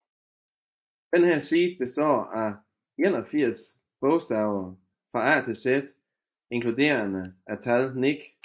Dette seed består af 81 bogstaver fra A til Z inkluderende tallet 9